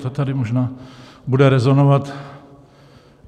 To tady možná bude rezonovat.